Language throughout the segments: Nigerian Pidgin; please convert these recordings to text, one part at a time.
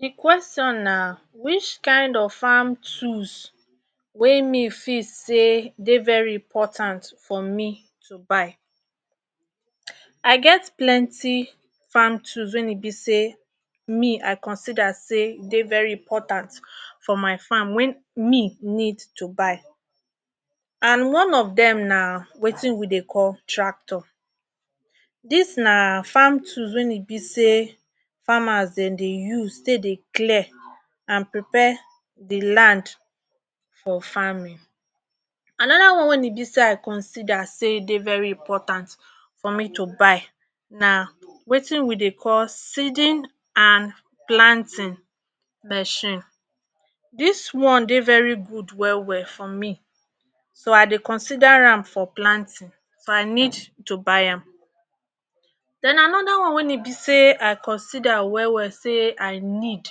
De question na which kind of farm tools wey me fit sey dey very important for me to buy. I get plenty farm tools wey need be sey me I consider sey e dey very important, when me need to buy. And one of dem na wetin we dey call tractor. Dis na wey need be sey farmers dem dey use take dey clear and prepare de land for farming. Anoda one wey need be sey I consider sey dey important for me to buy na wetin we dey call seeding and planting mechine dis one dey very good well well for me so I dey consider am for planting so I need to buy am. Den anoda one wey need be sey I consider well well sey I need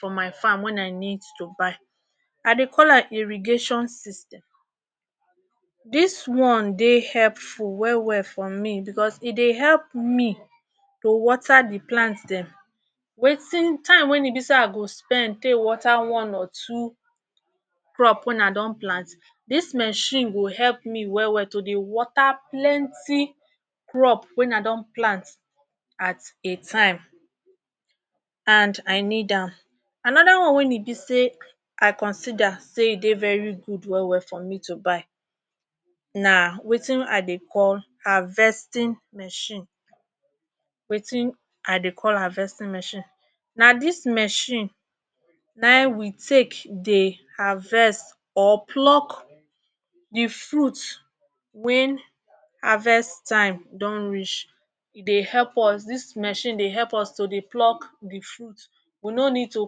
for my farm when I need to buy I dey call am irrigation system dis one dey helpful well well for me because e dey help me to water de plant dem wetin time wey need be sey I go spend take water one or two crop wen I don plant, dis mechine go help me well well to water plenty crop wen I don plant at a time and I need am. Anoda one wey need be sey I consider sey e dey very good well well for me to buy na wetin I dey call harvesting mechine wetin I dey call harvesting mechine, na dis mechine na ein we dey take dey harvest or pluck de fruit wey when harvest time don reach, e dey help us, dis mechine dey help us to pluck de fruit we no need to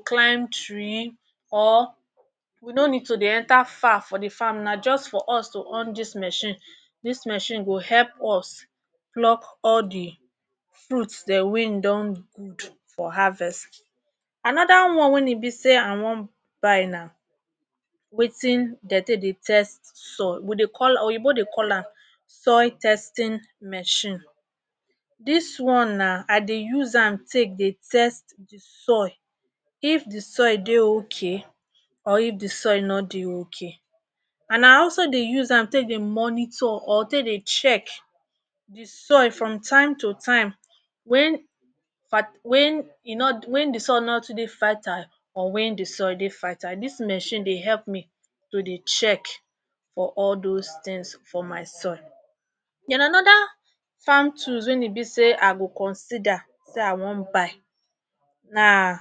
climb tree or we no need to dey enter far for de farm na just for us to on de mechine and dis mechine go help us pluck all de fruit dat we don do for harvest. Anoda one wey need be sey I want buy na wetin dem take dey test soil we dey call am, oyinbo pipu dey call am soil testing mechine, dis one na I dey use am take dey test de soil, if de soil dey okay or if de soil no dey okay and I also dey use am take dey monitor or take dey test de soil from time to time when um when e no when de soil e no too dey fertile or when de soil dey fertile. Dis mechine dey help me to dey check for all dos things for my soil. Den anoda farm tools wey need be sey I go consider sey I wan buy na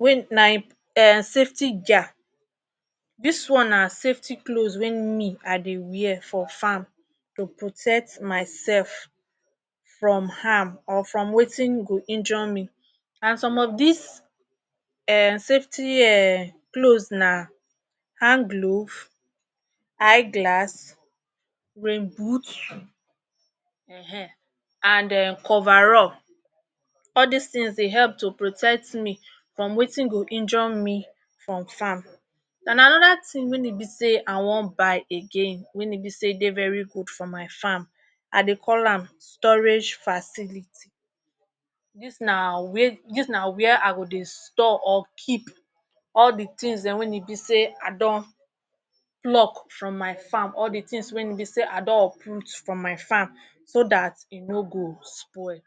um safety gear, dis one na safety cloth we me I dey wear for farm to protect myself from harm or from wetin go injure me, and some of dis um safty um cloth na hand gloves, eye glass, rain boot um and coverall all dis things dey help to protect me from wetin go injure me from farm. And anoda thing we need be sey I wan buy again wey need be sey dey very good for my farm I dey call am storage facility. Dis na um where I go dey store or keep things wey need be sey I don pluck for my farm, all de things wey need be sey I don uproot from my farm so dat e no go spoil.